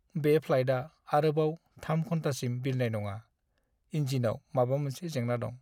बे फ्लाइटआ आरोबाव 3 घन्टासिम बिरनाय नङा। इन्जिनाव माबा मोनसे जेंना दं।